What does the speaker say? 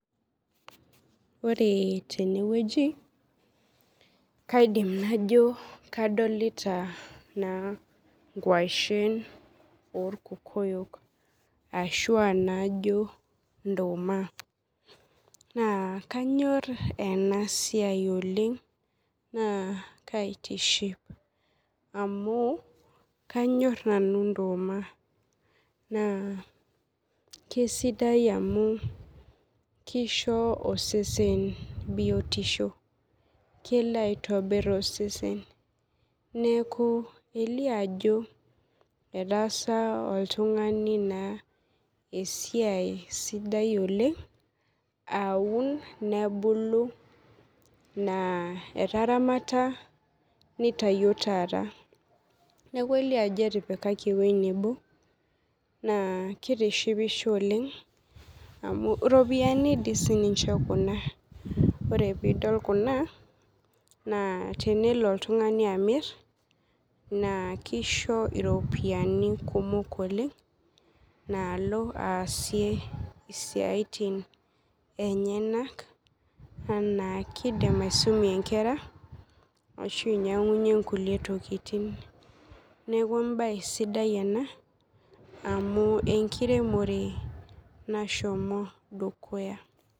Ore tenewueji kaidim najo kadolta nkwashen orkokoyo ashu najo nduma na kanyor enasiai oleng na kaitiship amu kanyor nanu nduma na kesidai amu kisho osesen biotisho kelo aitobir osesen neaku elio ajo etaasa oltungani esiai sidai oleng aun nebulu, etaramata nitawuo taata kelio ajo ketipikaki esiai nebo na kitishipisho amu ropiyani sinche kuna ore pidol kuna na tenelo oltungani amir na kisho iropiyiani kumok oleng nalo aasie siatin enyenak ana kidim aisumie nkera ashu ainyangunyie nkulie tokitin neaku embae sidai ena amu enkiremore nashomo dukuya.